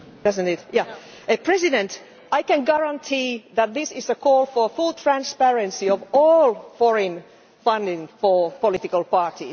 Mr President, I can guarantee that this is a call for the full transparency of all foreign funding for political parties.